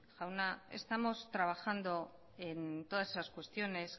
jauna estamos trabajando en todas esas cuestiones